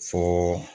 Fɔɔɔ